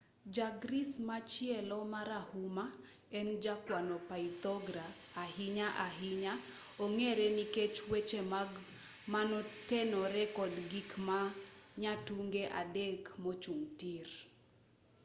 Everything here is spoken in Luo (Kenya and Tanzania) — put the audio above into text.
ja-greece machielo marahuma en jakwano pythagora ahinya ahinya ong'ere nikech weche mage manotenore kod gik ma nyatunge adek mochung' tir